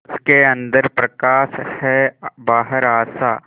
उसके अंदर प्रकाश है बाहर आशा